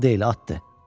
Mal deyil, atdır.